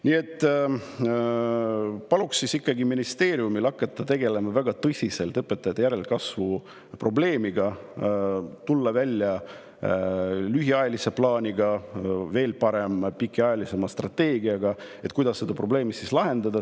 Nii et palun ikkagi ministeeriumil hakata tegelema väga tõsiselt õpetajate järelkasvu probleemiga, tulla välja lühiajalise plaaniga, või veel parem, pikaajalise strateegiaga, kuidas seda probleemi lahendada.